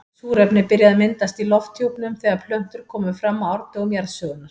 Súrefni byrjaði að myndast í lofthjúpnum þegar plöntur komu fram á árdögum jarðsögunnar.